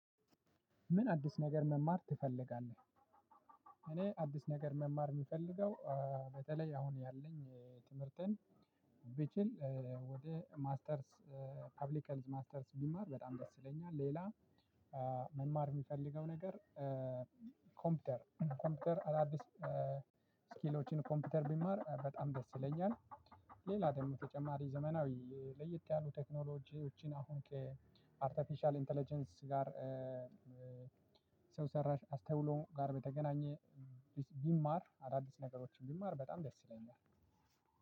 ምን አዲስ ነገር መማር ትፈልጋለህ? እኔ አዲስ ነገር መማር የምፈልገው በተለይ አሁን ያለኝ ትምህርትን ቢችል ወደ ማስተርስ ፐብሊክህልዝ ማስተርስ ብማር በጣም ደስ ይለኛል። ሌላ መማር የሚፈልገው ነገር። ኮምፒውተር ኮምፒውተር አዳዲስ ስኪሎችን ኮምፒውተር ብማር በጣም ደስ ይለኛል። ሌላ ደግሞ ተጨማሪ ዘመናዊ ለየት ያሉ ቴክኖሎጂዎችን አሁን ከአርቶፊሻል ኢንተለጀንስ ጋር ሰው ሰራሽ አስተውሎ ጋር በተገናኘ ብማር አዳዲስ ነገሮችን ብማር በጣም ደስ ይለኛል።